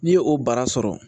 N'i ye o bara sɔrɔ